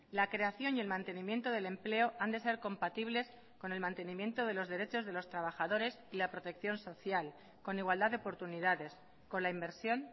la creación y el mantenimiento del empleo han de ser compatibles con el mantenimiento de los derechos de los trabajadores y la protección social con igualdad de oportunidades con la inversión